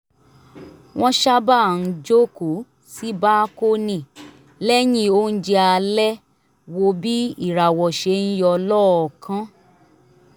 wọ́n sábà ń jókòó sí bákónì lẹ́yìn oúnjẹ alẹ́ wo bí ìràwọ̀ ṣe ń yọ lọ́ọ̀ọ̀kan